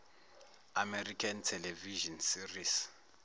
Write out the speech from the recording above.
american television series